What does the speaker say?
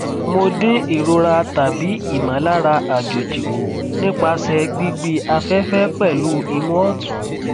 mo din irora tabi imọlara ajoji ku nipasẹ̀ gbigbi afẹ́fẹ́ pẹ̀lu imu otun